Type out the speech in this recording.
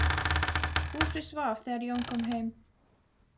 Húsið svaf þegar Jón kom heim.